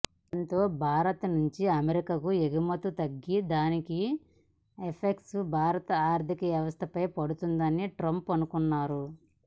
దాంతో భారత్ నుంచి అమెరికాకు ఎగుమతులు తగ్గి దాని ఎఫెక్ట్ భారత ఆర్థిక వ్యవస్థపై పడుతుందని ట్రంప్ అనుకున్నారు